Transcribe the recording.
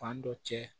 Fan dɔ cɛ